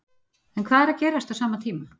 En hvað er að gerast á sama tíma?